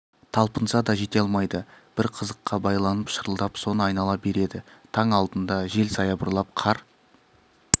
талпынса да жете алмайды бір қызыққа байланып шырылдап соны айнала береді таң алдында жел саябырлап қар